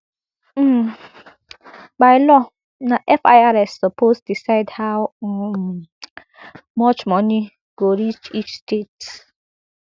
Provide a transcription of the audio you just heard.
um by law na firs suppose decide how um much money go reach each state